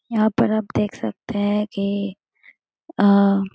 यहाँ पर आप देख सकते हैं की आ --